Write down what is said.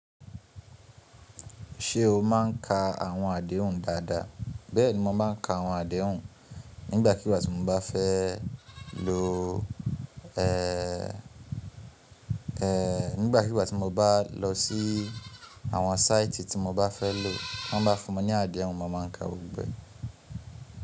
Ṣé o máa ń ka àwọn àdéhùn dáadáa? Bẹ́ẹ̀ni, mo máa ń ka àwọn àdéhùn nígbà kíìgbà tí mo nígbàkigbà tí mo bá lọ sí àwọn site tí mo bá fẹ́ lò. Wọ́n bá fún mi ní àdéhùn, mo ma ka gbogbo ẹ̀.